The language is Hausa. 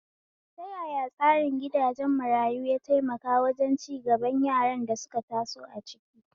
Ta yaya tsarin gidajen marayu ya taimaka wajen cigaban yaran da suka taso a ciki?